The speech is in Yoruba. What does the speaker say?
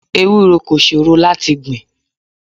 Ewúro kò ṣòro láti gbìn.